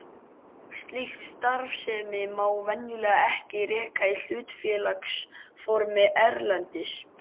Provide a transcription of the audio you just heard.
Slíka starfsemi má venjulega ekki reka í hlutafélagsformi erlendis.